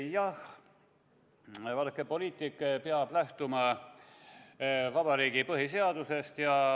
Jah, vaadake, poliitik peab lähtuma vabariigi põhiseadusest.